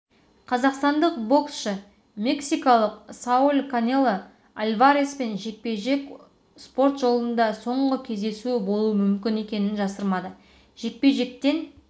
кейін аяқтауым мүмкін бірақ жалғастыруым да бек мүмкін жағдайым жақсы дамын бірақ әлі де жастағы